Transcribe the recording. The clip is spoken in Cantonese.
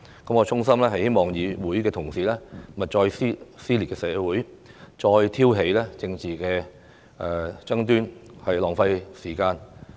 我衷心希望議會同事勿再撕裂社會，別再挑起政治爭端，浪費時間。